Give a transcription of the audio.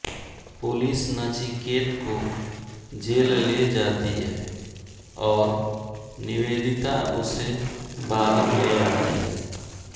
police Nachiket को jail ले जाती है और निवेदिता उसे बाहर ले आती है